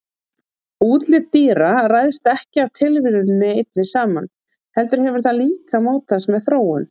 Útlit dýra ræðst ekki af tilviljuninni einni saman heldur hefur það líka mótast með þróun.